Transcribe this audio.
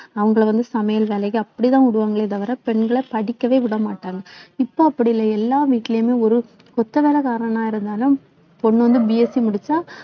அவங்களை வந்து சமையல் வேலைக்கு அப்படிதான் விடுவாங்களே தவிர பெண்களை படிக்கவே விட மாட்டாங்க இப்போ அப்படி இல்லை எல்லா வீட்டிலேயுமே ஒரு கொத்த வேலைக்காரனா இருந்தாலும் பொண்ணு வந்து BSC முடிச்சா